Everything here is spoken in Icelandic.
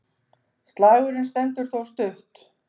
Slagurinn stendur þó stutt.